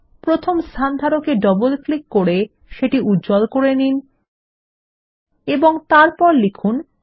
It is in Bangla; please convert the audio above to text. প্রথম স্থানধারকে ডবল ক্লিক করে সেটি উজ্জ্বল করে নিন এবং তারপর লিখুন ৪